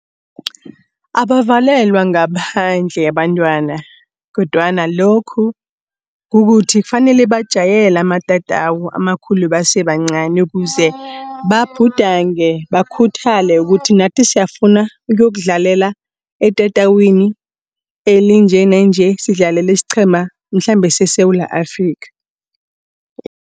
Abavalelwa ngaphandle abantwana kodwana lokhu kukuthi, kufanele bajayele amatatawu amakhulu basebancani ukuze babhudange, bakhuthale kuthi nathi siyafuna ukuyokudlalela etatawini elinje nanje sidlalela isiqhema mhlambe seSewula Afrikha.